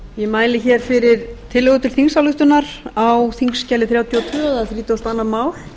ég mæli hér fyrir tillögu til þingsályktunar á þingskjali þrjátíu og tvö þrítugasta og önnur mál